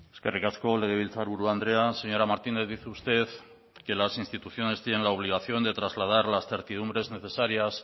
eskerrik asko legebiltzarburu andrea señora martínez dice usted que las instituciones tienen la obligación de trasladar las certidumbres necesarias